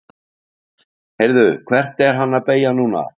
Heyrðu. hvert er hann að beygja núna?